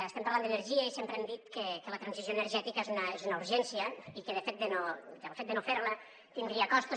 estem parlant d’energia i sempre hem dit que la transició energètica és una urgència i que el fet de no ferla tindria costos